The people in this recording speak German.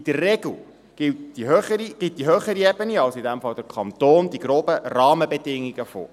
In der Regel gibt die höhere Ebene, also in diesem Fall der Kanton, die groben Rahmenbedingungen vor.